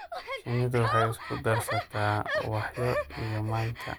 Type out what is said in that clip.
Shinnidu waxay isku darsataa ubaxyo iyo manka.